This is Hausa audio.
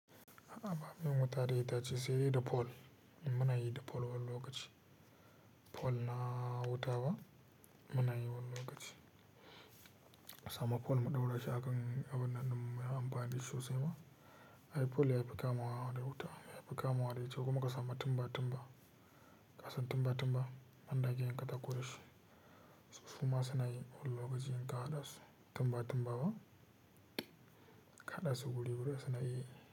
A'a bamu yin wuta da itace sai dai da fol, amma muna yi da fol wani lokaci. Fol na wuta ba muna yi wani lokaci. A samu fol mu ɗaura shi a kan abun nan din mu muyi amfani da shi sosai ba. Ai fol yafi kamawa da wuta, yafi kamawa da ice kuma ka samu timba-timba. Ka san timba-timba? Wanda ake yin katako da shi, suma suna yi wani lokaci in ka haɗa su. Timba-timba ba ka haɗa su wuri-wuri suna yi.